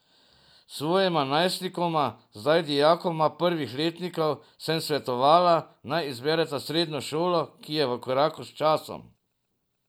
Svojima najstnikoma, zdaj dijakoma prvih letnikov, sem svetovala, naj izbereta srednjo šolo, ki je v koraku s časom.